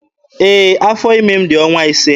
Ee, afọ ime m dị ọnwa ise.